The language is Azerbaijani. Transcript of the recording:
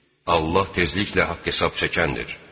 Allah tezliklə haqq hesab çəkəndir.